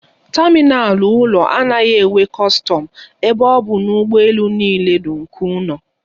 Tamịnal ụlọ anaghị enwe kọstọm ebe ọ bụ na ụgbọ elu niile nụ nke ụlọ.